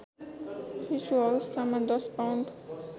शिशुअवस्थामा १० pound